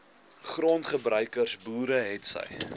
grondgebruikers boere hetsy